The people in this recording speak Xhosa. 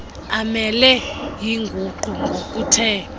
amele inguqu ngokuthe